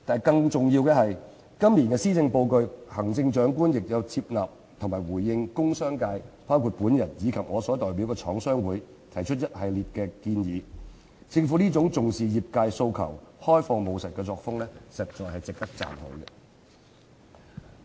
更重要的是，今年的施政報告，行政長官亦有接納和回應工商界，包括我及我所代表的香港中華廠商聯合會提出的一系列建議，政府這種重視業界訴求、開放務實的作風，實在值得讚許。